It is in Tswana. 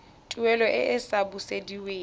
tuelo e e sa busediweng